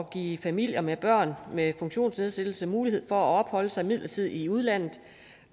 give familier med børn med funktionsnedsættelse mulighed for at opholde sig midlertidigt i udlandet